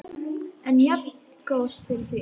En jafngóð fyrir því!